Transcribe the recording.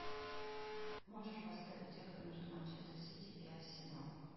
можешь поставить игру между манчестер сити и арсенал